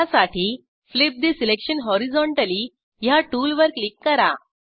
त्यासाठी flip the selection horizontally ह्या टूलवर क्लिक करा